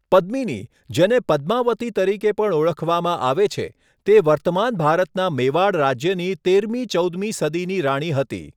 પદ્મિની, જેને પદ્માવતી તરીકે પણ ઓળખવામાં આવે છે, તે વર્તમાન ભારતના મેવાડ રાજ્યની તેરમી ચૌદમી સદીની રાણી હતી.